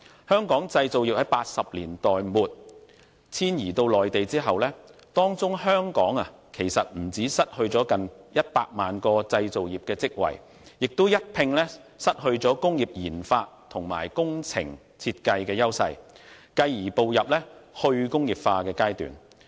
香港製造業在1980年代末遷移到內地後，不但失去近100萬個製造業職位，也一併失去了工業研發與工程設計的優勢，繼而步入"去工業化"的階段。